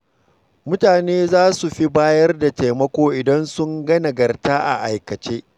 Mutane za su fi bayar da taimako idan sun ga nagarta a aikace.